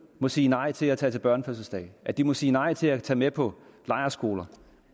må sige nej til at tage til børnefødselsdag at de må sige nej til at tage med på lejrskole